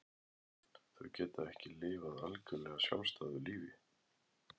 Þau geta ekki lifað algjörlega sjálfstæðu lífi.